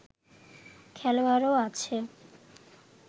খেলোয়াড়ও আছে